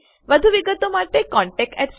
વધુ વિગતો માટે contactspoken tutorialorg પર લખો